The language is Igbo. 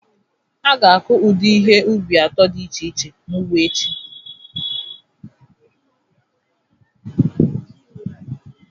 A ga-akụ ụdị ihe ubi atọ dị iche iche n'ugbo echi